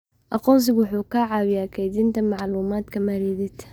Aqoonsigu wuxuu caawiyaa kaydinta macluumaadka maaliyadeed.